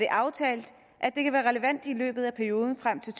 aftalt at det kan være relevant i løbet af perioden frem til